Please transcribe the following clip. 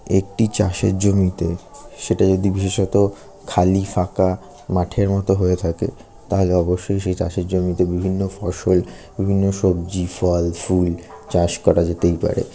একটি চাষের জমিতে সেটা যদি বিশেষত খালি ফাঁকা মাঠের মতো হয়ে থাকে তাহলে অবশ্যই সেই চাষের জমিতে বিভিন্ন ফসল বিভিন্ন সবজি ফল ফুল চাষ করা যেতেই পারে।